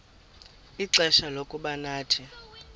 ixfsha lokuba nathi